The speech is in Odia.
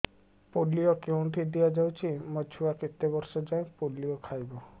ପୋଲିଓ କେଉଁଠି ଦିଆଯାଉଛି ମୋ ଛୁଆ କେତେ ବର୍ଷ ଯାଏଁ ପୋଲିଓ ଖାଇବ